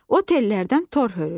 O tellərdən tor hörür.